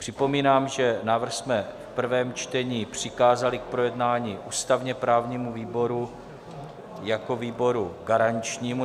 Připomínám, že návrh jsme v prvém čtení přikázali k projednání ústavně-právnímu výboru jako výboru garančnímu.